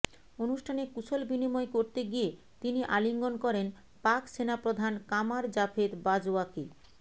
অনুষ্ঠানে কুশল বিনিময় করতে গিয়ে তিনি আলিঙ্গন করেন পাক সেনা প্রধান কামার জাভেদ বাজওয়াকে